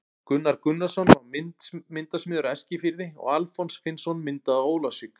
Gunnar Gunnarsson var myndasmiður á Eskifirði og Alfons Finnsson myndaði á Ólafsvík.